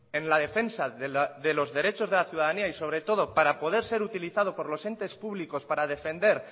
en la defensa de los derechos de la ciudadanía y sobre todo para poder ser utilizado por los entes públicos para defender